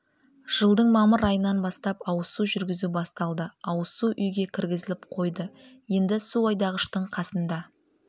жылдың мамыр айынан бастап ауызсу жүргізу басталды ауызсу үйге кіргізіліп қойды енді су айдағыштың қасында